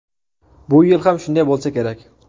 Bu yil ham shunday bo‘lsa kerak.